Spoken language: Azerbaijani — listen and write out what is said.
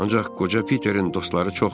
Ancaq qoca Peterin dostları çoxdur.